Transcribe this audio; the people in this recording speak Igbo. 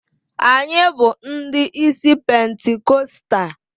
Anyị bụ ndị isi pentikọstal.